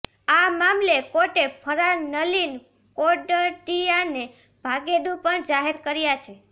આ મામલે કોર્ટે ફરાર નલિન કોટડિયાને ભાગેડૂ પણ જાહેર કર્યા છે